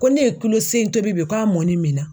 Ko ne ye kulo seegin tobi bi k'a mɔni mi na.